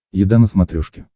еда на смотрешке